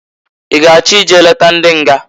I g'achọ i je leta ndị nga?